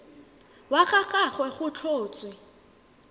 wa ga gagwe go tlhotswe